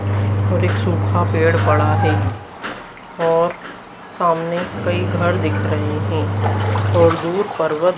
और एक सूखा पेड़ पड़ा है और सामने कई घर दिख रहे हैं और दो पर्वत--